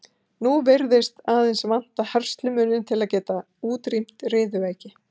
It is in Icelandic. nú virðist aðeins vanta herslumuninn til að geta útrýmt riðuveiki